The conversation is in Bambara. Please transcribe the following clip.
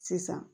Sisan